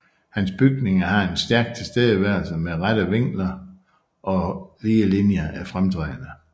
Hans bygninger har en stærk tilstedeværelse med rette vinkler og lige linjer er fremtrædende